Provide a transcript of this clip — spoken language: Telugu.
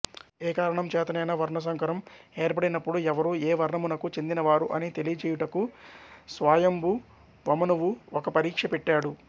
ఏకారణం చేతనైనా వర్ణసంకరం ఏర్పడినప్పుడు ఎవరు ఏ వర్ణమునకు చెందిన వారు అని తెలియజేయుటకు స్వాయంభువమనువు ఒక పరీక్ష పెట్టాడు